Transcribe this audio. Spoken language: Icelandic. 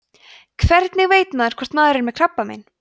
hvernig veit maður hvort maður er með krabbamein